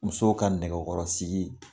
Musow ka nɛgɛkɔrɔ sigi